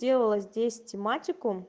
здесь тимати